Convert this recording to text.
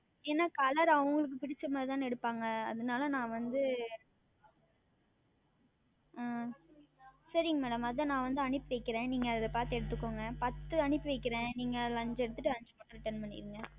ஏனால் Color அவங்களுக்கு பிடித்த மாதிரி தானே எடுப்பார்கள் அதுனால் நான் வந்து ஆஹ் சரிங்கள் Madam அது தான் நான் வந்து அனுப்பி வைக்கிறேன் நீங்கள் அதில் பார்த்து எடுத்து கொள்ளுங்கள் பத்து அனுப்பி வைக்கிறேன் நீங்கள் அதில் ஐந்து எடுத்து கொண்டு ஐந்து மட்டும் Return செய்து வையுங்கள்